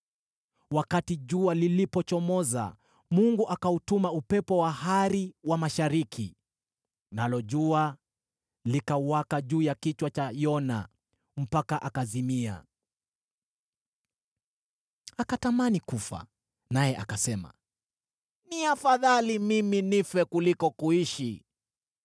Wakati jua lilipochomoza, Mungu akautuma upepo wa hari wa mashariki, nalo jua likawaka juu ya kichwa cha Yona mpaka akazimia. Akatamani kufa, naye akasema, “Ni afadhali mimi nife kuliko kuishi.”